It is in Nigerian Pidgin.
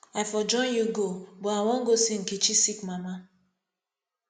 i for join you go but i wan go see nkechi sick mama